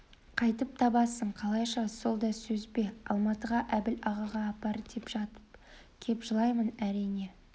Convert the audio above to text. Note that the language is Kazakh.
қайтіп табасың қалайша сол да сөз бе алматыға әбіл ағаға апар деп жатып кеп жылаймын әрине